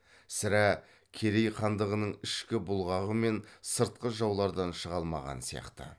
сірә керей хандығының ішкі бұлғағы мен сыртқы жаулардан шыға алмаған сияқты